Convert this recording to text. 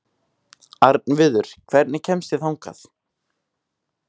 Arnviður, hvernig kemst ég þangað?